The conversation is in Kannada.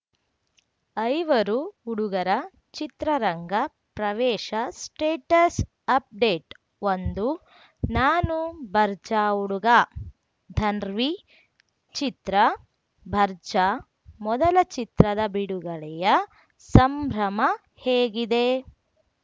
ಐವರು ಹುಡುಗರ ಚಿತ್ರರಂಗ ಪ್ರವೇಶ ಸ್ಟೇಟಸ್‌ ಅಪ್‌ಡೇಟ್ ಒಂದು ನಾನು ಬರ್ಜಾ ಹುಡುಗ ಧನ್‌ರ್ವೀ ಚಿತ್ರ ಬರ್ಜಾ ಮೊದಲ ಚಿತ್ರದ ಬಿಡುಗಡೆಯ ಸಂಭ್ರಮ ಹೇಗಿದೆ